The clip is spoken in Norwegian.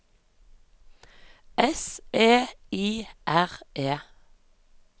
S E I R E